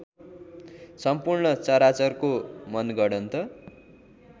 सम्पूर्ण चराचरको मनगढन्त